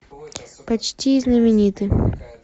почти знамениты